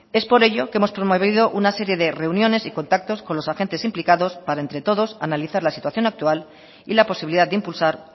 es por ello que hemos promovido una serie de reuniones y contactos con los agentes implicados para entre todos analizar la situación actual y la posibilidad de impulsar